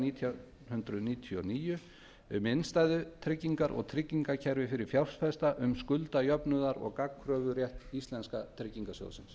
nítján hundruð níutíu og níu um innstæðutryggingar og tryggingakerfi fyrir fjárfesta um skuldajafnaðar og gagnkröfurétt íslenska tryggingarsjóðsins